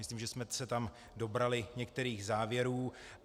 Myslím, že jsme se tam dobrali některých závěrů.